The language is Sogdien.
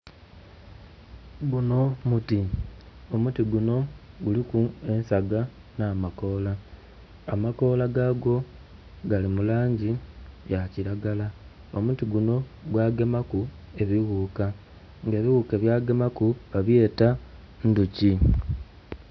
Gunho muti, omuti gunho guliku ensaga nha makola amakola gagwo gali mulangi yakilagala omuti gunho gwagemaku ebighuka nga ebighuka ebyagemaku babyeta ndhuki